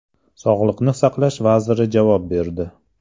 Sog‘liqni saqlash vaziri javob berdi.